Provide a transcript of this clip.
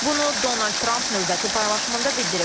Bunu Donald Trump növbəti paylaşımında bildirib.